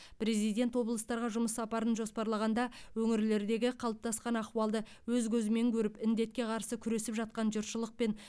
президент облыстарға жұмыс сапарын жоспарлағанда өңірлердегі қалыптасқан ахуалды өз көзімен көріп індетке қарсы күресіп жатқан жұртшылықпен